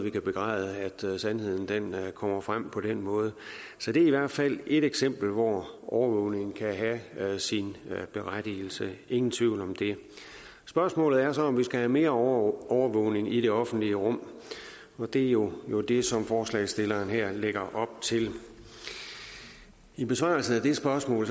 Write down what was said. ikke begræde at sandheden kommer frem på den måde så det er i hvert fald ét eksempel hvor overvågning kan have sin berettigelse ingen tvivl om det spørgsmålet er så om vi skal have mere overvågning i det offentlige rum og det er jo det som forslagsstillerne her lægger op til i besvarelsen af det spørgsmål